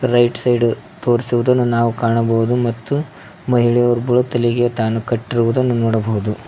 Right side ತೋರಿಸಿರುದನ್ನು ನಾವು ಕಾಣಬಹುದು ಮತ್ತು ಮಹಿಳೆ ಒಬ್ರು ತಲೀಗೆ ನೋಡಬಹುದು.